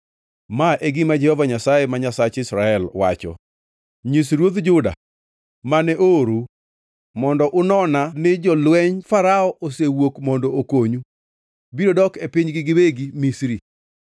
“Ma e gima Jehova Nyasaye, ma Nyasach Israel, wacho: Nyis ruodh Juda, mane oorou mondo unona ni, ‘Jolwenj Farao, mosewuok mondo okonyu, biro dok e pinygi giwegi, Misri.